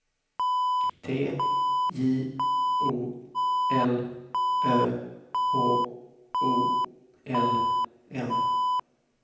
T J O L Ö H O L M